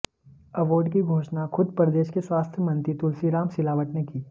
award की घोषणा खुद प्रदेश के स्वास्थ्य मंत्री तुलसीराम सिलावट ने की